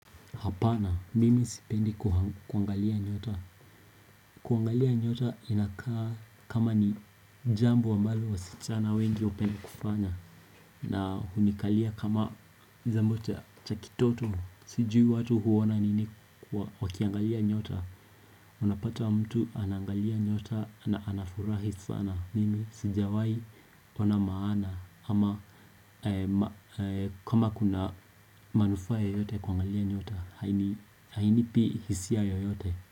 Hapana, mimi sipendi kuangalia nyota. Kuangalia nyota inakaa kama ni jambo ambalo wasichana wengi hupenda kufanya. Na hunikalia kama jambo cha kitoto, sijui watu huona nini wakiangalia nyota. Unapata mtu anaangalia nyota na anafurahi sana. Mimi sijawahi ona maana. Ama kama kuna manufaa yoyote kuangalia nyota. Hainipi hisia yoyote.